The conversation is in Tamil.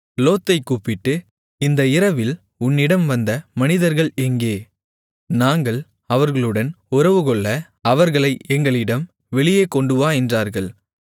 லோத்தைக் கூப்பிட்டு இந்த இரவில் உன்னிடம் வந்த மனிதர்கள் எங்கே நாங்கள் அவர்களுடன் உறவுகொள்ள அவர்களை எங்களிடம் வெளியே கொண்டுவா என்றார்கள்